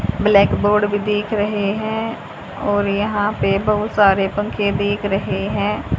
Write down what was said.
Blackboard भी दिख रहे हैं और यहां पे बहोत सारे पंखे दिख रहे हैं।